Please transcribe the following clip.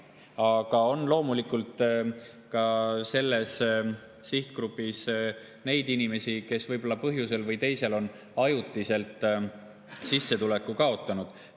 Aga loomulikult on ka selles sihtgrupis neid inimesi, kes võib-olla põhjusel või teisel on ajutiselt sissetuleku kaotanud.